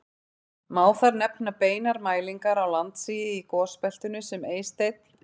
Má þar nefna beinar mælingar á landsigi í gosbeltinu sem Eysteinn